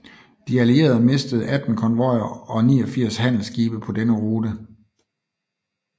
De Allierede mistede 18 konvojer og 89 handelsskibe på denne rute